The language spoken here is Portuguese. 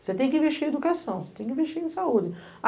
Você tem que investir em educação, você tem que investir em saúde.